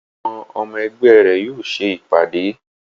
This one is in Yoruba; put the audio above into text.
Àwọn ọmọ ẹgbẹ́ rẹ̀ yóò ṣe ìpàdé